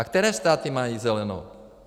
A které státy mají zelenou?